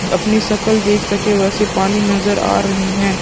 अपनी सकल देख सके वैसे पानी नजर आ रहे है ।